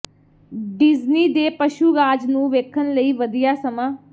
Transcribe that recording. Disney ਦੇ ਪਸ਼ੂ ਰਾਜ ਨੂੰ ਵੇਖਣ ਲਈ ਵਧੀਆ ਸਮਾਂ